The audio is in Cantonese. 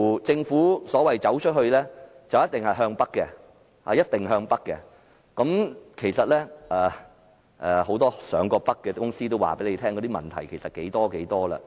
政府說的"走出去"，似乎一定是向北，其實很多曾經北上的公司也表示問題相當多。